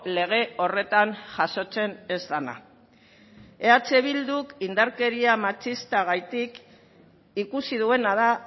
lege horretan jasotzen ez dena eh bilduk indarkeria matxistagatik ikusi duena da